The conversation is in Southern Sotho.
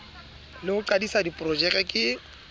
le ho qadisa diprojeke ke